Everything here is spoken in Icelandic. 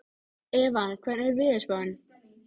Evan, hvernig er veðurspáin?